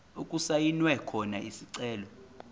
okusayinwe khona isicelo